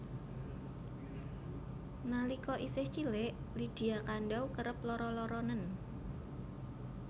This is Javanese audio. Nalika isih cilik Lydia Kandou kerep lara laranen